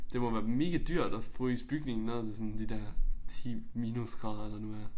Det må være megadyrt at fryse bygningen ned til sådan de der 10 minusgrader der nu er